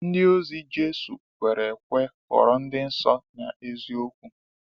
Ndịozi Jésù kwere ekwe ghọrọ ndị nsọ n’eziokwu.